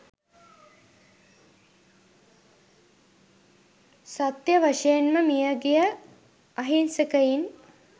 සත්‍ය වශයෙන්ම මියගිය අහින්සකයින්